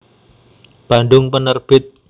Bandung Penerbit